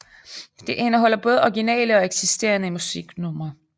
Det indeholder både originale og eksisterende musiknumre